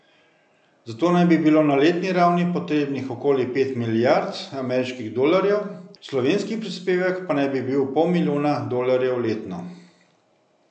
Za to naj bi bilo na letni ravni potrebnih okoli pet milijard ameriških dolarjev, slovenski prispevek pa naj bi bil pol milijona dolarjev letno.